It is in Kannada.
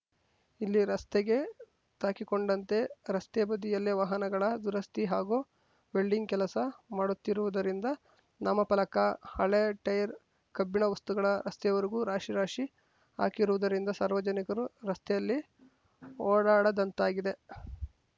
ಇಲ್ಲಿ ರಸ್ತೆಗೆ ತಾಕಿಕೊಂಡಂತೆ ರಸ್ತೆ ಬದಿಯಲ್ಲೇ ವಾಹನಗಳ ದುರಸ್ತಿ ಹಾಗೂ ವೆಲ್ಡಿಂಗ್‌ ಕೆಲಸ ಮಾಡುತ್ತಿರುವುದರಿಂದ ನಾಮಫಲಕ ಹಳೇ ಟೈರ್‌ ಕಬ್ಬಿಣ ವಸ್ತುಗಳ ರಸ್ತೆಯವರೆಗೂ ರಾಶಿ ರಾಶಿ ಹಾಕಿರುವುದರಿಂದ ಸಾರ್ವಜನಿಕರು ರಸ್ತೆಯಲ್ಲಿ ಓಡಾಡದಂತಾಗಿದೆ